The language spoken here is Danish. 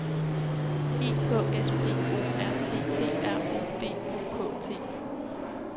E K S P O R T P R O D U K T